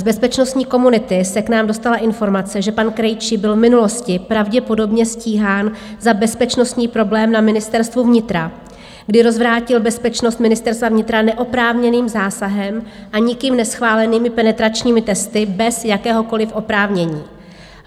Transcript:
Z bezpečnostní komunity se k nám dostala informace, že pan Krejčí byl v minulosti pravděpodobně stíhán za bezpečnostní problém na Ministerstvu vnitra, kdy rozvrátil bezpečnost Ministerstva vnitra neoprávněným zásahem a nikým neschválenými penetračními testy bez jakéhokoliv oprávnění.